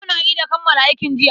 Yau na ida kammala aikin jiya.